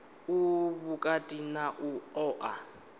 u vhukati na u oa